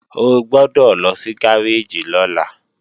O gbọ́dọ̀ lọ sí gáréèjì lọ́la